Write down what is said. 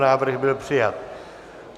Návrh byl přijat.